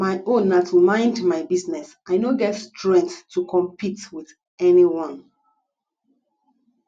my own na to mind my business i no get strength to compete with anyone